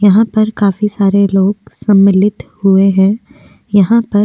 यहां पर काफी सारे लोग सम्मिलित हुए हैं। यहां पर --